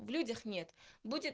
в людях нет будет